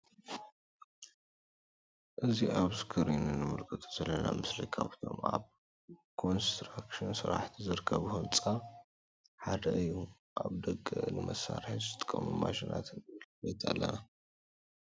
እዚ አብ እስክሪን እንምልከቶ ዘለና ምስሊ ካብቶም አብ ኮንስትራክሽን ስራሕቲ ዝርከቡ ህንፃ ሓደ እዩ::አብ ደገ ንመሳርሒ ዝጠቅሙ ማሽናት ንምልከት አለና::